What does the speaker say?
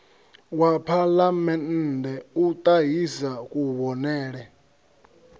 wa phalamennde u ṱahisa kuvhonele